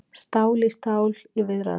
Stál í stál í viðræðum